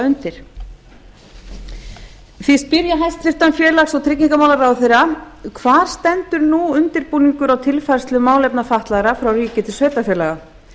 undir því spyr ég hæstvirtur félags og tryggingamálaráðherra fyrstu hvar stendur undirbúningur að tilfærslu málefna fatlaðra frá ríki til sveitarfélaga